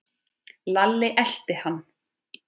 Lalli elti hann.